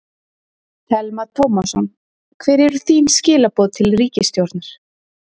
Telma Tómasson: Hver eru þín skilaboð til ríkisstjórnar?